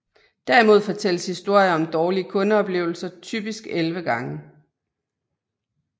Derimod fortælles historier om dårlige kundeoplevelser typisk 11 gange